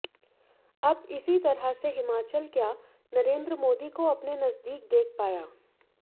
अब इसी तरह से हिमाचल क्या नरेंद्र मोदी को अपने नजदीक देख पाया